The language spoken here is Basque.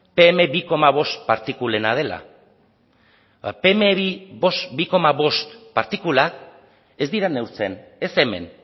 pe eme bi bost partikulena dela ba pe eme bi bost partikulak ez dira neurtzen ez hemen